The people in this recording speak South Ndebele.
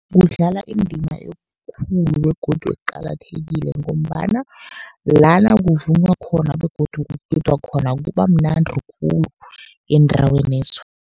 Kudlala indima ekhulu begodu eqakathekile, ngombana lana kuvunywa khona begodu kugidwa khona kuba mnandi khulu eendawenezo.